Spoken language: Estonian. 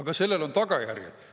Aga sellel on tagajärjed.